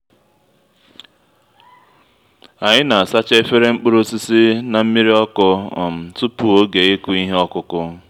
anyị na-asacha efere mkpụrụ osisi na nmiri ọkụ um tupu oge ịkụ ihe ọkụkụ